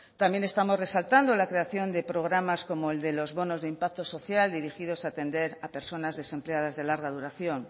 también estamos resaltando la creación de programas como el de los bonos de impacto social dirigidos a tender a personas desempleadas de larga duración